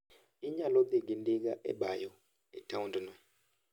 Inyalo dhi gi ndiga e bayo e taondno.